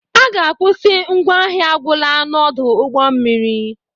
A ga-akwụsị ngwa ahịa agwụla n'ọdụ ụgbọ mmiri